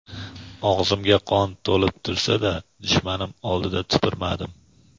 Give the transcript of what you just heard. "Og‘zimga qon to‘lib tursa-da dushmanim oldida tupurmadim.".